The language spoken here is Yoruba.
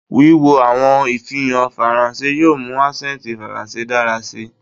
Wiwo awọn ifihan Faranse yoo mu asẹnti Faranse dara si